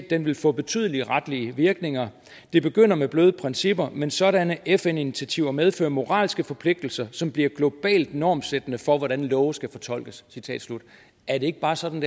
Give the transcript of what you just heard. den vil få betydelige retlige virkninger det begynder med bløde principper men sådanne fn initiativer medfører moralske forpligtelser som bliver globalt normsættende for hvordan love skal fortolkes er det ikke bare sådan